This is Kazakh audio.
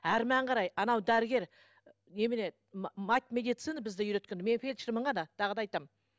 әрмен қарай анау дәрігер немене мать медицины бізді үйреткен мен фельдшермін ғана тағы да айтамын